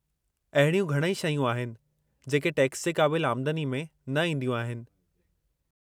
अहिड़ियूं घणई शयूं आहिनि जेके टैक्स जे क़ाबिलु आमदनी में न ईंदियूं आहिनि।